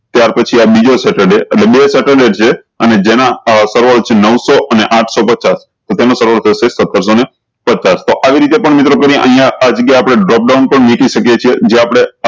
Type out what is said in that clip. ત્યાર પછી આ બીજો સેટરડે એટલે બે સેટરડે છે અને જેના સેવાળો છે નૌ સૌ અને આઠ સૌ પચાસ તો તેનું સારવાળું થશે સત્તર સૌ ને પચ્ચાસ તો આવી રીતે પણ મિત્રો કરીએ અયીયા આ જગ્યા આપળે dropdown પણ મેકી સક્યે છે જે આપળે